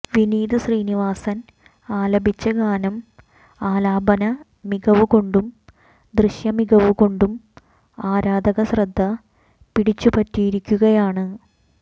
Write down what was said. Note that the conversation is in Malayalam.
വിനീത് ശ്രീനിവാസൻ ആലപിച്ച ഗാനം ആലാപന മികവു കൊണ്ടും ദൃശ്യമികവുകൊണ്ടും ആരാധകശ്രദ്ധ പിടിച്ചുപറ്റിയിരിക്കുകയാണ്